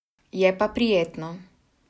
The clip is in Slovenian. Je pa prijetno.